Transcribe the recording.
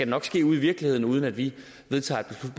nok ske ude i virkeligheden uden at vi vedtager